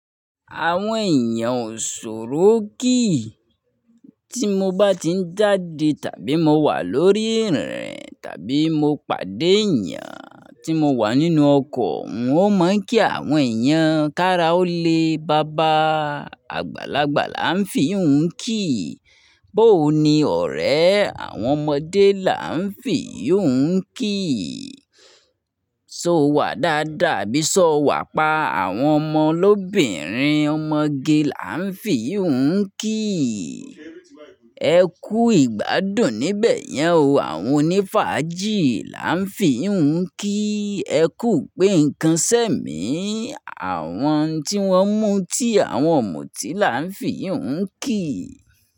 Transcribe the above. Àwọn èèyàn ò ṣòro kíì. Tí mo bá ti ń jáde tàbí mo wà lórí ìrìn tàbí mo pàdé èèyàn tí mo wà nínú ọkọ̀, n ó mọ̀ pé àwọn èèyàn kára ó lé baba. Àgbàlagbà là ń fi iyi hun kíì. Bóò ni ọ̀rẹ́, àwọn ọmọdé là ń fi iyi hun kíì. So wà dáadáa, abí sọ wà pa àwọn ọmọ lóbìnrin, ọmọge là ń fi iyi hun kíì. Ẹ kú ìgbádùn níbẹ̀ yẹn o, àwọn onífájì là ń fi yii hun kíì. Ẹ kú gbe é nǹkan sẹ́ mi, àwọn tí wọ́n mú tí àwọn ọ̀mùtí là ń fi yii hun kíì.